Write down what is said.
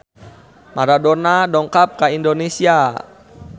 Maradona dongkap ka Indonesia